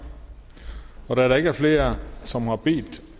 da der der ikke er flere som har bedt